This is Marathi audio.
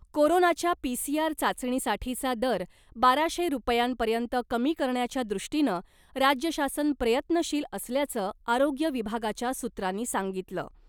कोरोनाच्या पीसीआर चाचणीसाठीचा दर बाराशे रुपयांपर्यंत कमी करण्याच्या दृष्टीनं राज्य शासन प्रयत्नशील असल्याचं आरोग्य विभागाच्या सूत्रांनी सांगितलं .